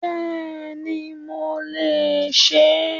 Béèni mo lè se é